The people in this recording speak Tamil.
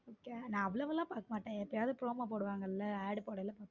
நான் அவ்வளவு எல்லாம் பார்க்க மாட்டேன் எப்பவாவது promo போடுவாங்கல AD போடைல பாப்பேன்.